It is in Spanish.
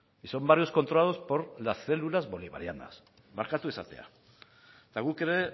y son varios controlados por las células bolivarianas barkatu esatea eta guk ere